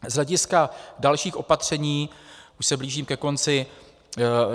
Z hlediska dalších opatření - už se blížím ke konci.